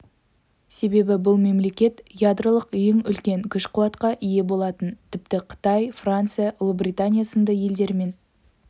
себебі бұл мемлекет ядролық ең үлкен күш-қуатқа ие болатын тіпті қытай франция ұлыбритания сынды елдермен